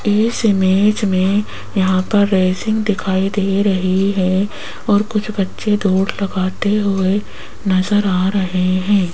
इस इमेज में यहां पर रेसिंग दिखाई दे रही है और कुछ बच्चे दौड़ लगाते हुए नजर आ रहे हैं।